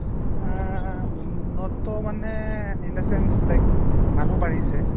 আহ উন্নত মানে in a sense like মানুহ বাঢ়িছে